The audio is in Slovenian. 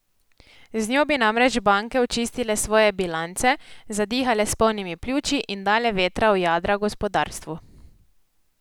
Z njo bi namreč banke očistile svoje bilance, zadihale s polnimi pljuči in dale vetra v jadra gospodarstvu.